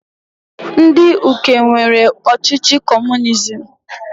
Ndị Uke nwere ọchịchị comunizim.